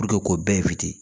k'o bɛɛ